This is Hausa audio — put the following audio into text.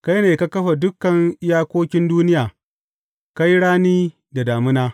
Kai ne ka kafa dukan iyakokin duniya; ka yi rani da damina.